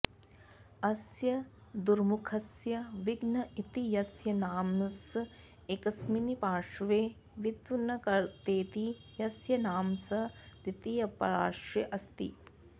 अस्य दुर्मुखस्य विघ्न इति यस्य नाम स एकस्मिन्पार्श्वे विघ्नकर्तेति यस्य नाम स द्वितीयपार्श्वेऽस्ति